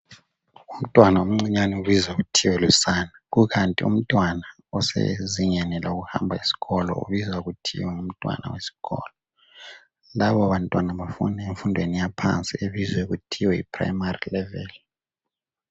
Umntwana omncinyani ubizwa kuthiwa lusani kukanti umntwana osezingeni lokuhamba esikolo ubizwa kuthiwa ngumntwana wesikolo labo bantwana bafunda emfundweni yaphansi ebizwa kuthiwa yi primary level.